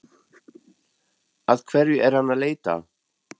Að hverju er hann að leita?